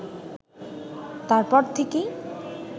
তারপর থেকেই